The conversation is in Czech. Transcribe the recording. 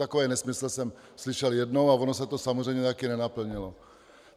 Takový nesmysl jsem slyšel jednou a ono se to samozřejmě taky nenaplnilo.